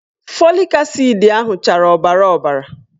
Fọlik asid ahụ chara ọbara ọbara